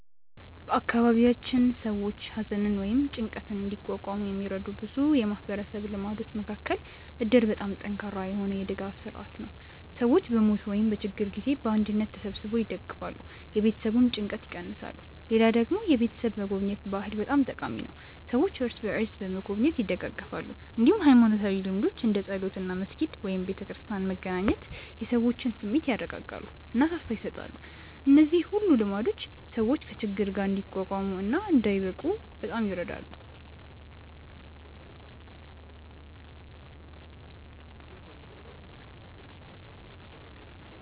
በአካባቢያችን ሰዎች ሐዘንን ወይም ጭንቀትን እንዲቋቋሙ የሚረዱ ብዙ የማህበረሰብ ልማዶች መካከል እድር በጣም ጠንካራ የሆነ የድጋፍ ስርዓት ነው፤ ሰዎች በሞት ወይም በችግር ጊዜ በአንድነት ተሰብስበው ይደግፋሉ፣ የቤተሰቡን ጭንቀት ይቀንሳሉ። ሌላ ደግሞ የቤተሰብ መጎብኘት ባህል በጣም ጠቃሚ ነው፤ ሰዎች እርስ በርስ በመጎብኘት ይደጋገፋሉ። እንዲሁም ሃይማኖታዊ ልምዶች እንደ ጸሎት እና መስጊድ/ቤተክርስቲያን መገናኘት የሰዎችን ስሜት ያረጋጋሉ እና ተስፋ ይሰጣሉ። እነዚህ ሁሉ ልማዶች ሰዎች ከችግር ጋር እንዲቋቋሙ እና እንዳይብቁ በጣም ይረዳሉ።